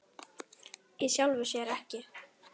Í sjálfu sér ekki.